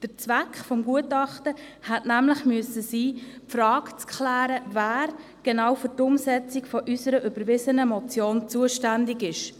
Der Zweck des Gutachtens hätte sein müssen, die Frage zu klären, wer genau für die Umsetzung der von uns überwiesenen Motion zuständig ist.